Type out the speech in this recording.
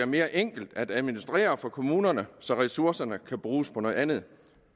mere enkel at administrere for kommunerne så ressourcerne kan bruges på noget andet